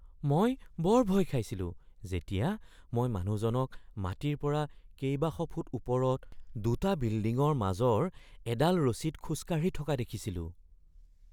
মই বৰ ভয় খাইছিলো যেতিয়া মই মানুহজনক মাটিৰ পৰা কেইবাশ ফুট ওপৰত দুটা বিল্ডিঙৰ মাজৰ এডাল ৰছীত খোজ কাঢ়ি থকা দেখিছিলো।